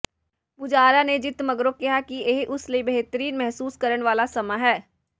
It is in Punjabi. ਪੁਜਾਰਾ ਨੇ ਜਿੱਤ ਮਗਰੋਂ ਕਿਹਾ ਕਿ ਇਹ ਉਸ ਲਈ ਬਿਹਤਰੀਨ ਮਹਿਸੂਸ ਕਰਨ ਵਾਲਾ ਸਮਾਂ ਹੈ